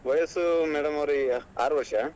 ವಯಸ್ಸು madam ಅವ್ರೆ ಈಗ ಆರು ವರ್ಷ.